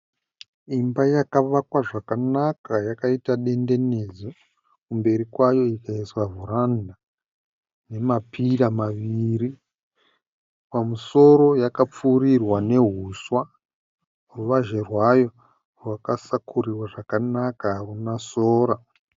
Imba yakavakwa zvakanaka yakaita dendenedzwa. Kumberi kwayo ikaiswa vharanda nemapira maviri. Pamusoro yakapfuurirwa neuswa. Ruvazhe rwayo rwakasakurirwa zvakanaka haruna sora.